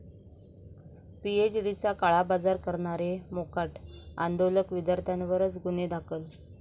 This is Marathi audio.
पीएचडीचा काळाबाजार करणारे मोकाट, आंदोलक विद्यार्थ्यांवरच गुन्हे दाखल